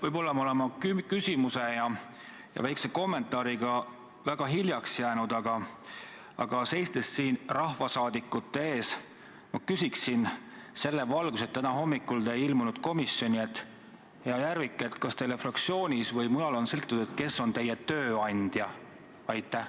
Võib-olla olen ma oma küsimuse ja väikese kommentaariga väga hiljaks jäänud, aga siin rahvasaadikute ees ma küsin selles valguses, et täna hommikul te ei ilmunud komisjoni: hea Järvik, kas teile fraktsioonis või mujal on selgitatud, kes on teie tööandja?